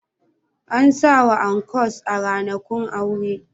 Ana sawa ankos a ranakun aure